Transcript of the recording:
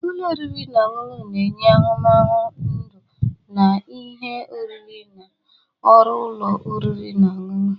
Ụlọ oriri na ọṅụṅụ na-enye ahụmahụ ndụ na ihe oriri na ọrụ ụlọ oriri na ọṅụṅụ.